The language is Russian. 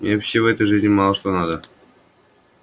мне вообще в этой жизни мало что надо